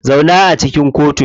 Zauna a cikin kotu.